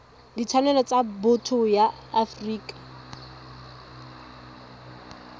ditshwanelo tsa botho ya afrika